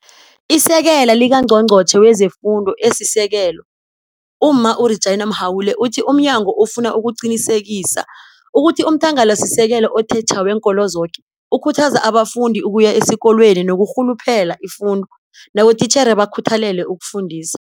ISekela likaNgqongqotjhe wezeFundo esiSekelo uMma u-Reginah Mhaule uthi umnyango ufuna ukuqinisekisa ukuthi umthangalasisekelo othetjha weenkolo zoke ukhuthaza abafundi ukuya esikolweni nokurhuluphela ifundo nabotitjhere bakhuthalele ukufundisa.